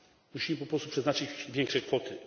Musimy po prostu przeznaczyć większe kwoty.